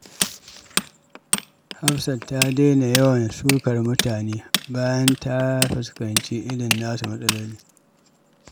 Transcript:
Hafsat ta daina yawan sukar mutane bayan ta fuskanci irin nasu matsalolin.